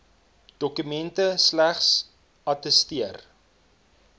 dokumente slegs attesteer